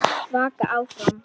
Vaka áfram.